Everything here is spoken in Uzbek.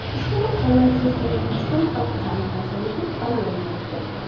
Ushbu maqola yuzasidan O‘zbekiston Xalq ta’limi vazirligi bayonot berdi .